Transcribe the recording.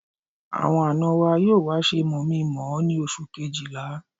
Àwọn àna wa yóò wá ṣe mọ̀-mí-mọ̀-ọ́ ní oṣù Kejìlá